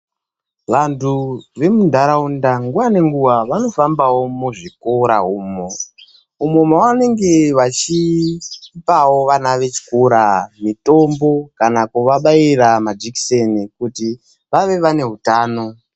Vantu vemunharaunda nguwa nenguwa vanofambavo muzvikora umo. Umo vanenge vachipavo vana vechikora mitombo kana kuwabaira majekiseni kuti vave vane hutano.